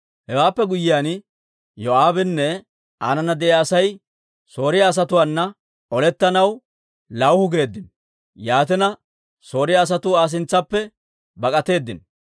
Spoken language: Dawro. Hewaappe guyyiyaan, Yoo'aabinne aanana de'iyaa Asay Sooriyaa asatuwaana olettanaw lawuhu geeddino. Yaatina, Sooriyaa asatuu Aa sintsaappe bak'atteedino.